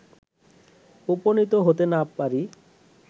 উপনীত হতে না পারি